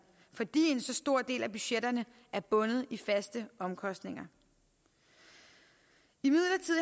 fordi en så stor del af budgetterne er bundet i faste omkostninger imidlertid